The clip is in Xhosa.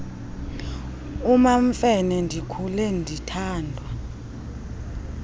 umamfene ndikhule ndithandwa